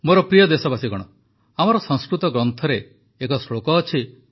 ମୋର ପ୍ରିୟ ଦେଶବାସୀଗଣ ଆମର ସଂସ୍କୃତ ଗ୍ରନ୍ଥରେ ଏକ ଶ୍ଳୋକ ଅଛି